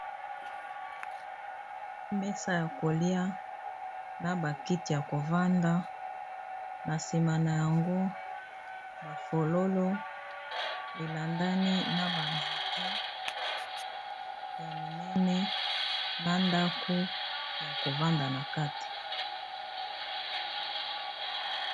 Mesa oyo ba koliya na bakiti ya KO fanda nasima nayango ba fololo elandani na ba nzete ya minene na ndaku Yako vanda na kati.